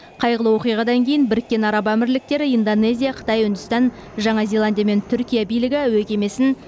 қайғылы оқиғадан кейін біріккен араб әмірліктері индонезия қытай үндістан жаңа зеландия мен түркия билігі әуе кемесін